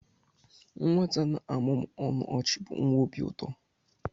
Nwata na-amụmụ ọnụ ọchị bụ nwa obi ụtọ.